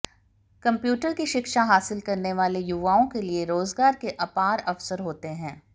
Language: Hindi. कम्प्यूटर की शिक्षा हासिल करने वाले युवाओं के लिए रोजगार के अपार अवसर होते हैं